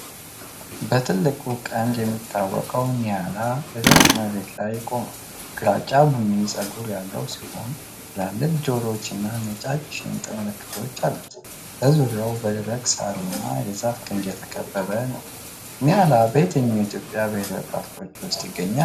በትልቁ ቀንዱ የሚታወቀው ኒያላ በደረቅ መሬት ላይ ቆሟል። ግራጫ ቡኒ ፀጉር ያለው ሲሆን፣ ትላልቅ ጆሮዎቹና ነጫጭ ሽንጥ ምልክቶች አሉት። ዙሪያው በደረቁ የሣርና የዛፍ ግንድ የተከበበ ነው። ኒያላ በየትኞቹ የኢትዮጵያ ብሔራዊ ፓርኮች ውስጥ ይገኛል?